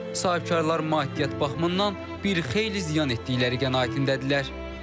Sahibkarlar maddiyyat baxımından bir xeyli ziyan etdikləri qənaətindədirlər.